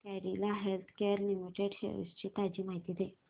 Cadila healthcare limited shares ची ताजी माहिती दे